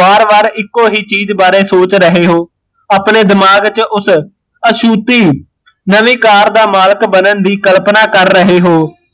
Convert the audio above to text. ਵਾਰ ਵਾਰ ਇੱਕੋ ਹੀਂ ਚੀਜ਼ ਬਾਰੇ ਸੋਚ ਰਹੇ ਹੋ ਅਪਣੇ ਦਿਮਾਗ ਚ ਉਸ ਅਸਹੂਤੀ ਨਵੀਂ ਕਾਰ ਦਾ ਮਾਲਕ ਬਣਨ ਦੀ ਕਲਪਨਾ ਕਰ ਰਹੇ ਹੋ